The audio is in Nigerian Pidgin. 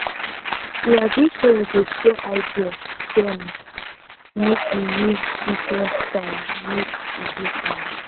we agree say we go share idea then make we use diferent style make e different